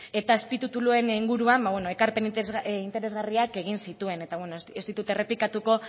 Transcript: eta azpitituluen inguruan ekarpen interesgarriak egin zituen eta ez ditut errepikatuko